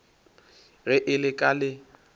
ge e le ka le